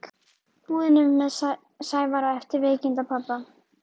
búðinni með Sævari eftir veikindi pabba.